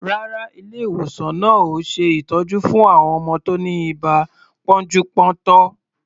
Rárá, ilé-ìwòsan náà ò ṣe ìtọ́jú fún àwọn ọmọ tí ó ní ibà pọ́njú-pọ́ntọ̀.